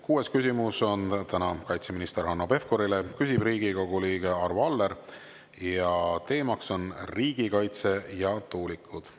Kuues küsimus on kaitseminister Hanno Pevkurile, küsib Riigikogu liige Arvo Aller ning teema on riigikaitse ja tuulikud.